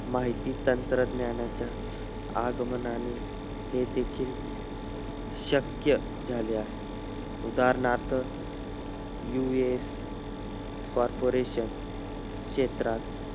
माहित तंत्रज्ञानाच्या आगमनाने हे तिथून शक्य झाले आहे उदाहरणार्थ लूईस corporation क्षेत्रात